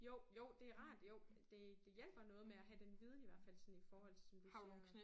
Jo jo det rart jo det det hjælper noget med at have den viden i hvert fald sådan i forhold til som du siger